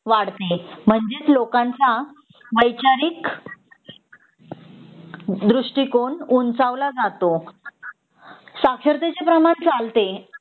वाढते म्हणजेच लोकांच्या वैचारिक दृष्टिकोण उंचावला जातो साक्षरतेचे प्रमाण सांगते